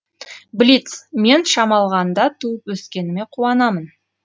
блиц мен шамалғанда туып өскеніме қуанамын